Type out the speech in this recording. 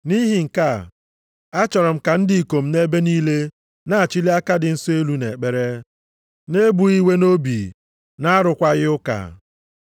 Nʼihi nke a, achọrọ m ka ndị ikom, nʼebe niile na-achili aka dị nsọ elu nʼekpere, na-ebughị iwe nʼobi, na-arụkwaghị ụka.